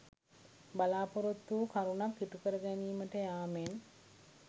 බලා‍පොරොත්තු වූ කරුණක් ඉටු කර ගැනීමට යාමෙන්